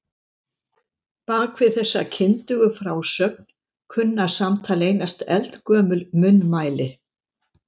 Bak við þessa kyndugu frásögn kunna samt að leynast eldgömul munnmæli.